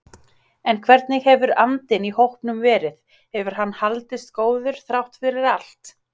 En hvernig hefur andinn í hópnum verið, hefur hann haldist góður þrátt fyrir allt?